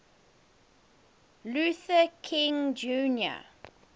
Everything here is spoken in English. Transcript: luther king jr